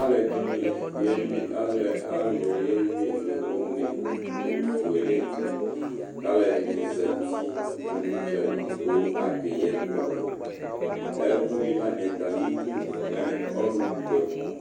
alʊni yelɩ nʊ ʊné nʊ owʊ fʊélé dɩ ka lɛdɩnɩ zɛtɩ nʊ ʊdjalɩ kakéyɩ ɛkʊ ɛkʊyɩlanɩɛ tamɩdʊ mɛ ɔlʊkʊɛmɔnɩ